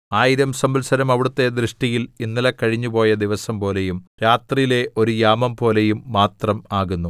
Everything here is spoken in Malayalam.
ആയിരം സംവത്സരം അവിടുത്തെ ദൃഷ്ടിയിൽ ഇന്നലെ കഴിഞ്ഞുപോയ ദിവസംപോലെയും രാത്രിയിലെ ഒരു യാമംപോലെയും മാത്രം ആകുന്നു